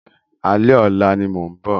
Alẹ́ ọ̀la ni mo ń bọ̀.